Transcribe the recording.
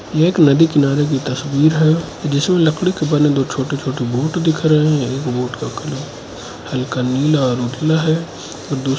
ये एक नदी किनारे की तस्वीर है जिसमे लकड़ी के बने दो छोटे छोटे बूट दिख रहे है एक बूट का कलर हल्का नीला और उजला है और दूस--